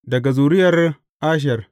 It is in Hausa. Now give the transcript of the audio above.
Daga zuriyar Asher.